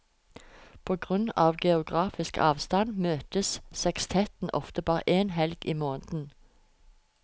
På grunn av geografisk avstand møtes sekstetten ofte bare én helg i måneden.